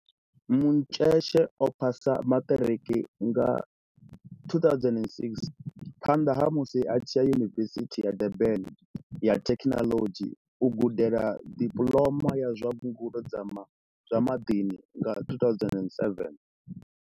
Mdletshe o phasa maṱiriki nga 2006, phanḓa ha musi a tshi ya Yunivesithi ya Durban ya Thekinoḽodzhi u gudela Dipuḽoma ya zwa Ngudo dza zwa Maḓini nga 2007.